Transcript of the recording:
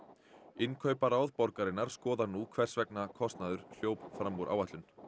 innkauparáð borgarinnar skoðar nú hvers vegna kostnaður hljóp fram úr áætlun